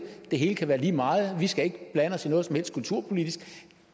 det hele kan være lige meget og vi skal ikke blande os i noget som helst kulturpolitisk